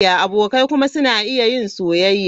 Abokai kuma suna iya yin soyayya.